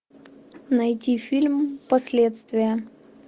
найти фильм последствия